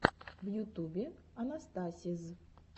в ютубе анастасиз